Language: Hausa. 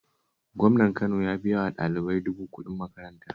Gwamnan Kano ya biya wa ɗalibai dubu kuɗin makaranta